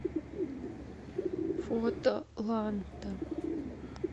фото ланта